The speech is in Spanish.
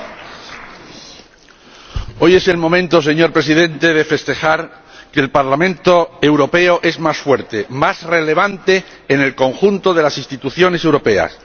Señor Presidente, hoy es el momento de festejar que el Parlamento Europeo es más fuerte, más relevante en el conjunto de las instituciones europeas.